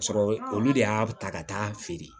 Ka sɔrɔ olu de y'a ta ka taa'a feere